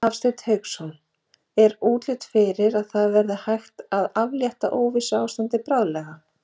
Hafsteinn Hauksson: Er útlit fyrir að það verði hægt að aflétta óvissuástandi bráðlega?